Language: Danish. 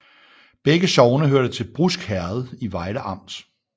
Begge sogne hørte til Brusk Herred i Vejle Amt